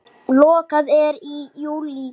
Lokað er í júlí.